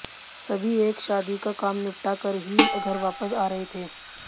सभी एक शादी का काम निपटा कर ही घर वापस आरहे थे